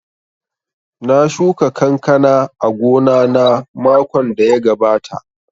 Na shuka kankana a gona na makon da ya gabata